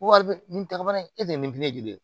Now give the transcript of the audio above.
Wari bɛ nin ta bannen e tɛ nin joli ye